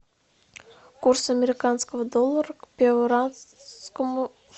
курс американского доллара к перуанскому